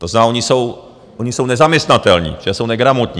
To znamená, oni jsou nezaměstnatelní, protože jsou negramotní.